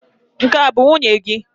Nke a bụ nwunye gị?